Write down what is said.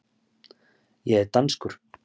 Ég er danskur.